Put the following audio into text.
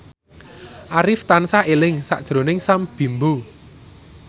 Arif tansah eling sakjroning Sam Bimbo